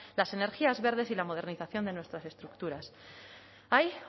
las energías verdes y la modernización de nuestras estructuras hay